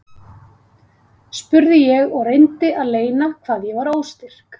spurði ég og reyndi að leyna hvað ég var óstyrk.